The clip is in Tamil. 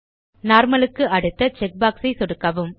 நார்மல் க்கு அடுத்த செக் பாக்ஸ் ஐ சொடுக்கவும்